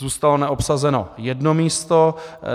Zůstalo neobsazeno jedno místo.